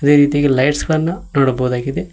ಅದೇ ರೀತಿಯಾಗಿ ಲೆಟ್ಸ್ ಗಳನ್ನ ನೋಡಬಹುದಾಗಿದೆ.